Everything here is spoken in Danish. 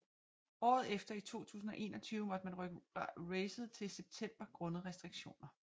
Året efter i 2021 måtte man rykke racet til september grundet restriktioner